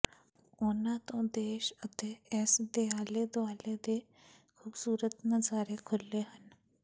ਉਨ੍ਹਾਂ ਤੋਂ ਦੇਸ਼ ਅਤੇ ਇਸ ਦੇ ਆਲੇ ਦੁਆਲੇ ਦੇ ਖੂਬਸੂਰਤ ਨਜ਼ਾਰੇ ਖੁਲ੍ਹੇ ਹਨ